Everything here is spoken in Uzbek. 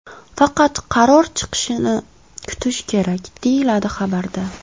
Faqat qaror chiqishini kutish kerak, deyiladi xabarda.